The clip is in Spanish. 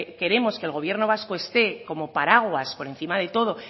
queremos que el gobierno vasco esté como paraguas por encima de todo